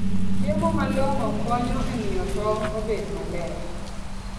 Chiemo malong'o konyo e miyo tong' obed maber.